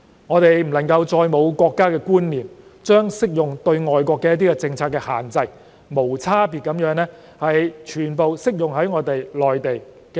我們不能再沒有國家觀念，將適用於外國的政策限制，無差別地全部適用於內地。